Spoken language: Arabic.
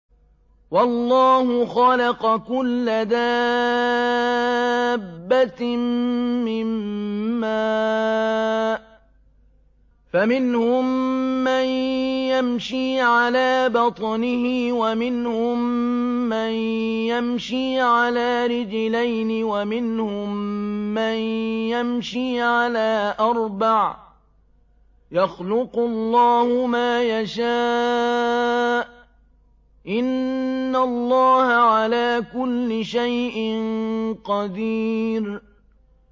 وَاللَّهُ خَلَقَ كُلَّ دَابَّةٍ مِّن مَّاءٍ ۖ فَمِنْهُم مَّن يَمْشِي عَلَىٰ بَطْنِهِ وَمِنْهُم مَّن يَمْشِي عَلَىٰ رِجْلَيْنِ وَمِنْهُم مَّن يَمْشِي عَلَىٰ أَرْبَعٍ ۚ يَخْلُقُ اللَّهُ مَا يَشَاءُ ۚ إِنَّ اللَّهَ عَلَىٰ كُلِّ شَيْءٍ قَدِيرٌ